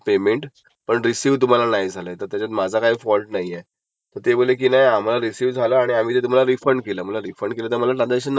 कारण बाकी माझं सगळं पेमेट जे आहे हे होम लोन किंवा क्रेडीट कार्ड ऑन टाइम आहे. मग असं काही जस्टीफीकेशन असेल ना